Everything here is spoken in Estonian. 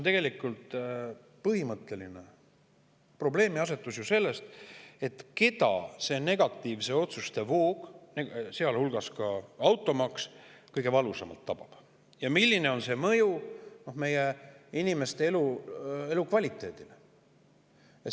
Tegelikult on põhimõtteline probleemiasetus see: keda see negatiivsete otsuste voog, sealhulgas automaks, kõige valusamalt tabab ning milline on selle mõju meie inimeste elukvaliteedile?